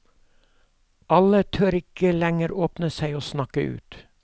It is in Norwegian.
Alle tør ikke lenger åpne seg og snakke ut.